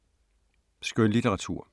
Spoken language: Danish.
Skønlitteratur